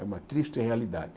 É uma triste realidade.